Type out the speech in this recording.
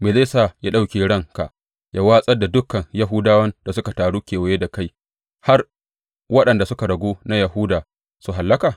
Me zai sa ya ɗauke ranka ya watsar da dukan Yahudawan da suka taru kewaye da kai har waɗanda suka ragu na Yahuda su hallaka?